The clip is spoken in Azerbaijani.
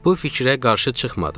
Bu fikrə qarşı çıxmadım.